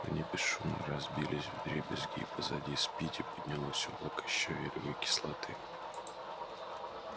они бесшумно разбились вдребезги и позади спиди поднялось облачко щавелевой кислоты